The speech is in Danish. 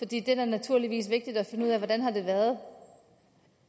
det er da naturligvis vigtigt at finde ud af hvordan det har været